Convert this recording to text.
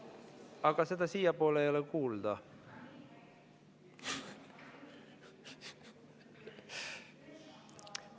Aga seda siiapoole ei ole kuulda.